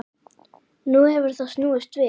Nú hefur það snúist við.